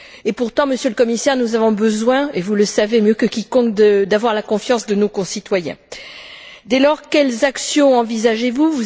Et pourtant, Monsieur le Commissaire, nous avons besoin, et vous le savez mieux que quiconque, d'avoir la confiance de nos concitoyens. Dès lors, quelles actions envisagez vous?